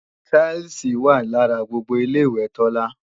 táílsìì wà lára gbogbo Ilé-ìwẹ̀ Tọ́lá